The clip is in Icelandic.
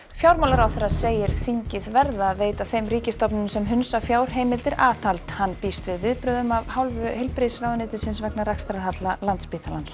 fjármálaráðherra segir þingið verða að veita þeim ríkisstofnunum sem hunsa fjárheimildir aðhald hann býst við viðbrögðum af hálfu heilbrigðisráðuneytis vegna rekstrarhalla Landspítalans